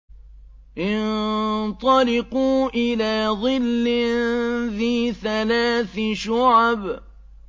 انطَلِقُوا إِلَىٰ ظِلٍّ ذِي ثَلَاثِ شُعَبٍ